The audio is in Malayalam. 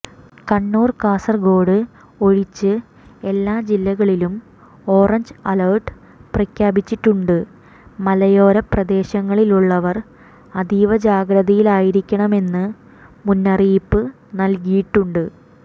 കണ്ണൂർ കാസർഗോഡ് ഒഴിച്ച് എല്ലാ ജില്ലകളിലും ഓറഞ്ച് അലർട്ട് പ്രഖ്യാപിച്ചിട്ടുണ്ട് മലയോരപ്രദേശങ്ങളിലുള്ളവർ അതീവജാഗ്രതയിലായിരിക്കണമെന്ന് മുന്നറിയിപ്പ് നൽകിയിട്ടുണ്ട്